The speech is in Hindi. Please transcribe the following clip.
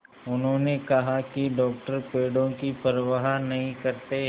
उन्होंने कहा कि डॉक्टर पेड़ों की परवाह नहीं करते